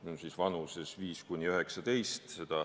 Pean silmas vanust 5–19.